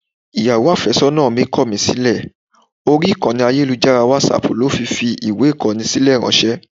Ìyàwó àfẹ́sọ́nà mi kọ̀ mí sílẹ̀, orí ìkànnì ayélujára WhatsApp ló fi fi ìwé Ìkọ́ni sílẹ̀ ráńṣẹ́.